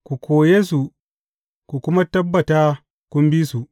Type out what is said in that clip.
Ku koye su, ku kuma tabbata kun bi su.